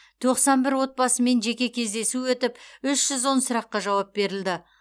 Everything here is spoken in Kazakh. тоқсан бір отбасымен жеке кездесу өтіп үш жүз он сұраққа жауап берілді